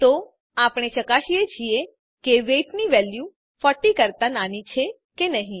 તો આપણે ચકાસીએ છીએ કે વેઇટ ની વેલ્યુ 40 કરતા નાની છે કે નહી